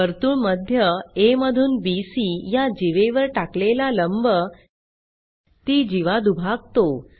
वर्तुळमध्य आ मधून बीसी या जीवेवर टाकलेला लंब ती जीवा दुभागत